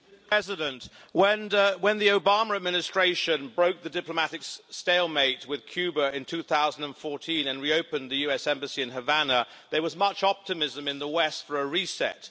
Mr President, when the Obama administration broke the diplomatic stalemate with Cuba in 2014 and reopened the US embassy in Havana, there was much optimism in the West for a reset.